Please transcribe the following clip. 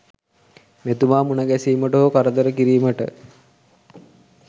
මෙතුමා මුණගැසීමට හෝ කරදර කිරීමට